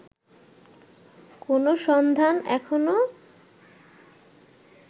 কোনো সন্ধান এখনো